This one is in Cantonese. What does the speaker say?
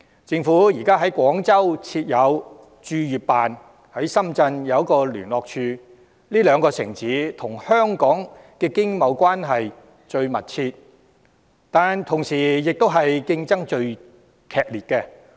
政府現時在廣州設有駐粵辦，在深圳亦有一個聯絡處，這兩個城市與香港的經貿關係最密切，但同時與香港的競爭亦最激烈。